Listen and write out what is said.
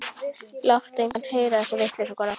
Láttu engan heyra þessa vitleysu, kona.